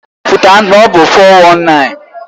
Ọ na-ekwupụta na ọ bụ 419.